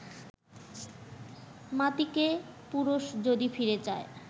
মাতিকে পুরুষ যদি ফিরে যায়